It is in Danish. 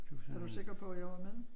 Er du sikker på at jeg var med?